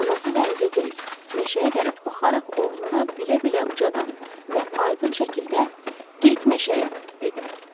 Anası dənizə deyil, meşəyə tərəf baxaraq oğluna bilə-bilə ucadan və aydın şəkildə get meşəyə dedi.